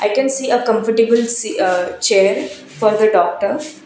we can see a comfortable si aa chair for the doctors.